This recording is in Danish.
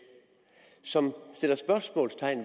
som stiller spørgsmål